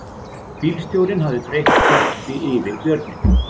Bílstjórinn hafði breitt teppi yfir björninn